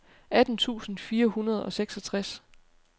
atten tusind fire hundrede og seksogtres